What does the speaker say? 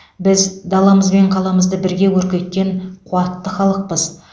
біз даламыз бен қаламызды бірге көркейткен қуатты халықпыз